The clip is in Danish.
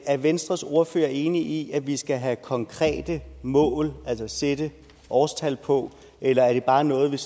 er venstres ordfører enig i at vi skal have konkrete mål altså sætte årstal på eller er det bare noget der